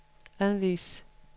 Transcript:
anvis